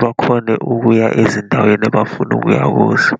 bakhone ukuya ezindaweni abafuna ukuya kuzo.